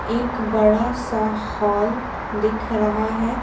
एक बड़ा सा हॉल दिख रहा है।